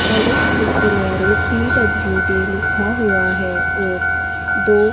सड़क के किनारे पी.डब्लू.डी लिखा हुआ है और दो --